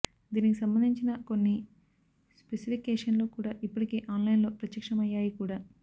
దీనికి సంబంధించిన కొన్ని స్పెసిఫికేషన్లు కూడా ఇప్పటికే ఆన్ లైన్ లో ప్రత్యక్షమయ్యాయి కూడా